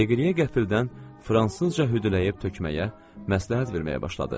Deqliyə qəfildən fransızca hüdüləyib tökməyə, məsləhət verməyə başladı.